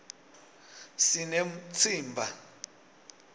sinemtsimba